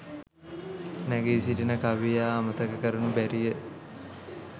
නැඟී සිටින කවියා අමතක කරනු බැරිය.